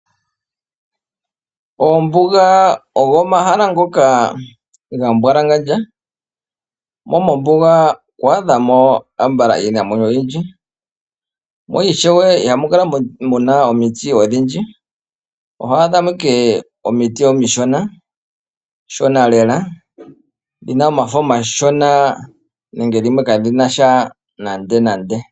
Oombuga ogo omahala ngoka gambwalangandja. Mombuga ito adha mo iinamwenyo oyindji mo ishewe ihamu kala muna omiti odhindji, oho adha mo ashike omiti omishona shona lela dhina omafo omashona nande dhimwe kadhina sha nande nande.